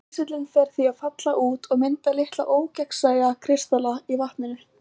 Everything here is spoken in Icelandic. kísillinn fer því að falla út og mynda litla ógegnsæja kristalla í vatninu